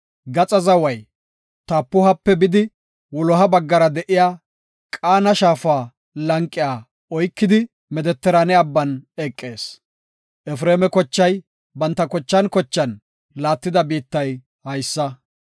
Gaxa zaway Tapuhape bidi, wuloha baggara de7iya Qaana shaafa lanqiya oykidi, Medetiraane abban eqees. Efreema kochay banta kochan kochan laattida biittay haysa.